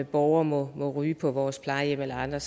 borgere må ryge på vores plejehjem eller andre